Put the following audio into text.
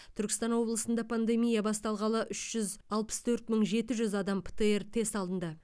түркістан облысында пандемия басталғалы үш жүз алпыс төрт мың жеті жүз адам птр тест алынды